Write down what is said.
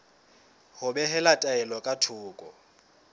ho behela taelo ka thoko